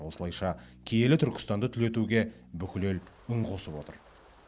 осылайша киелі түркістанды түлетуге бүкіл ел үн қосып отыр